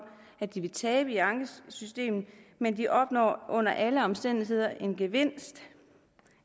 at de vil tabe i ankesystemet men de opnår under alle omstændigheder en gevinst